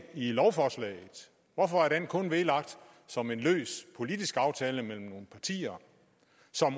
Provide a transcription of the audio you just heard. lovforslaget hvorfor er den kun vedlagt som en løs politisk aftale mellem nogle partier